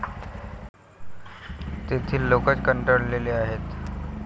तेथील लोकच कंटाळले आहेत.